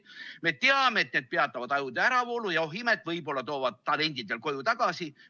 Me teame, et need peatavad ajude äravoolu ja, oh imet, võib-olla toovad talendid veel koju tagasi.